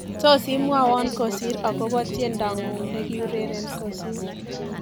Tos imwowo kosir akobo tiendongu nekiureren kosir